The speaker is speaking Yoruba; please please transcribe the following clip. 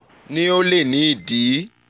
ni o le ni idi